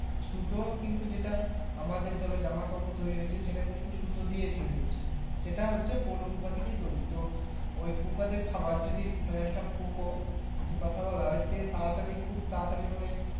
সুতো কিন্তু যেটা আমাদের ধরো জামাকাপর তৈরি হচ্ছে সেটা কিন্তু সুতো দিয়ে তৈরি হচ্ছে সেটা হচ্ছে পলু পোঁকা থেকে তৈরি তো ওই পোঁকার যে খাবার যদি আহ একটা পোঁকা যদি কথা বলা হয় সে তারাতারই খুব তাড়াতাড়ি মানে